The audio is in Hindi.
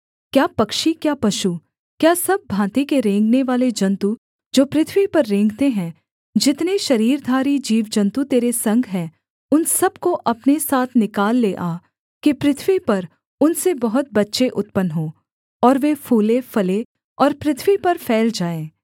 क्या पक्षी क्या पशु क्या सब भाँति के रेंगनेवाले जन्तु जो पृथ्वी पर रेंगते हैं जितने शरीरधारी जीवजन्तु तेरे संग हैं उन सब को अपने साथ निकाल ले आ कि पृथ्वी पर उनसे बहुत बच्चे उत्पन्न हों और वे फूलेंफलें और पृथ्वी पर फैल जाएँ